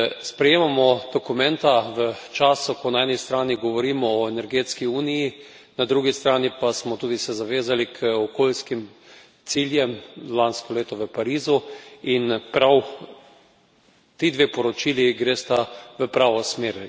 Sprejemamo dokumenta v času, ko na eni strani govorimo o energetski uniji, na drugi strani pa smo tudi se zavezali k okoljskim ciljem lansko leto v Parizu, in prav ti dve poročili gresta v pravo smer.